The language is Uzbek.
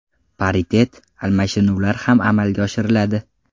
Paritet almashinuvlar ham amalga oshiriladi.